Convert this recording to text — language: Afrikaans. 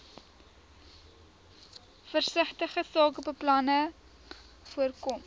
versigtige sakebeplanning voorkom